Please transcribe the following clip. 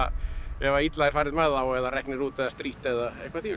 ef illa er farið með þá eða reknir út eða strítt eða eitthvað